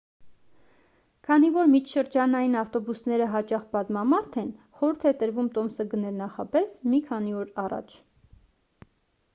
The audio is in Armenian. քանի որ միջշրջանային ավտոբուսները հաճախ բազմամարդ են խորհուրդ է տրվում տոմսը գնել նախապես մի քանի օր առաջ